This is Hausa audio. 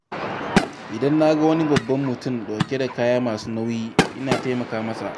Idan na ga wani babban mutum ɗauke da kaya masu nauyi, ina taimaka masa